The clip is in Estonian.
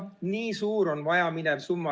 Üheksa miljardit on muidugi väga suur summa.